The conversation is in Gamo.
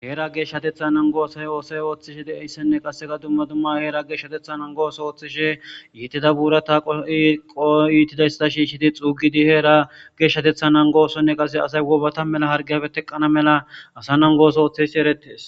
Heera geshshatteththa naggo oso oththishe deiyayssane qasse dumma dumma heera geshatetha nanggo oththo oththishe iitta buurata qorridi shishidi xuugidi heera geshatetha nanggo oththonne qasse asay bena wobbata hargiyape teqqanawu mella asa nanggo osso othiyaysi erettes.